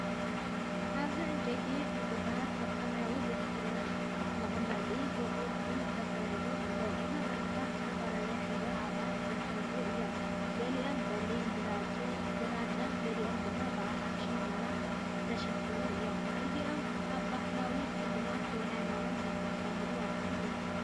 ኣብዚ ዕንጨይቲ ዕንቁታት ኣብ ሰማያዊ ድሕረ መቀመጢ ብቕርጺ ተሰሪዑ ኣሎ። እዞም ዕንቁታት ብዝተፈላለየ ሕብርን ዓቐንን ዝተሰርዑ እዮም፤ ገሊኦም ብጸሊምን ግራጭን፡ ገሊኦም ድማ ብኣራንሺን ቡናውን ዝተሸፈኑ እዮም። እዚኦም ኣብ ባህላዊ ስልማት ወይ ሃይማኖታዊ ዝጥቀሙሉ ኣቑሑት እዮም።